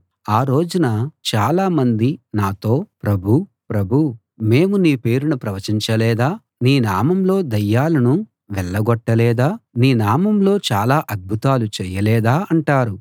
ఆ రోజున చాలామంది నాతో ప్రభూ ప్రభూ మేము నీ పేరున ప్రవచించలేదా నీ నామంలో దయ్యాలను వెళ్ళగొట్టలేదా నీ నామంలో చాలా అద్భుతాలు చేయలేదా అంటారు